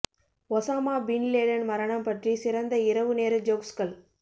Osama bin Laden மரணம் பற்றி சிறந்த இரவு நேர ஜோக்ஸ்கள்